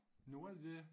Nå er de det